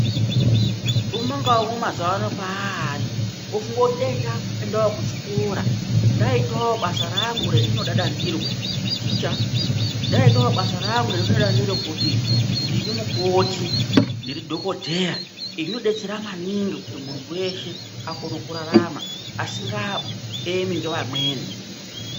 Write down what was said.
Mumwe ngamumwe mazuwa ano paari ofunge kuti dai ndaendawo kuchikora ndaitawo basa rangu rendinodada ndiro, kuti ndiri ticha, ndaitawo basa rangu rendinodada ndiro kuti ndiri mukoti, ndiri dhokodheya ,izvi zvinodetsera maningi kuti munhu weshe akone kurarama asingaemi nevamweni.